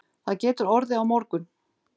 Það getur orðið á morgun